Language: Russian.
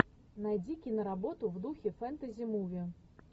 найди киноработу в духе фэнтези муви